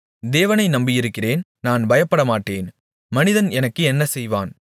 தேவனை நம்பியிருக்கிறேன் நான் பயப்படமாட்டேன் மனிதன் எனக்கு என்ன செய்வான்